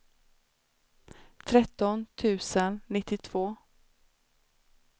tretton tusen nittiotvå